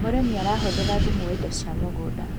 mũrĩmi arahuthira thumu wa indo cia muugunda